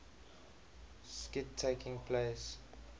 skit taking place